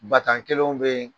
faridan kelenw bɛ yen